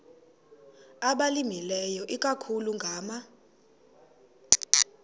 abalimileyo ikakhulu ngama